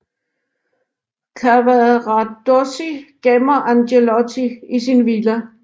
Cavaradossi gemmer Angelotti i sin villa